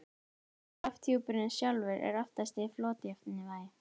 lofthjúpurinn sjálfur er oftast í flotjafnvægi